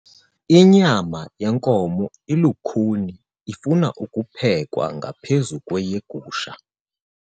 Inyama yenkomo ilukhuni ifuna ukuphekwa ngaphezu kweyegusha.